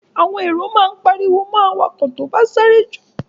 Àwọn èrò máa pariwo mọ awakọ̀ tí ó bá sáré jù.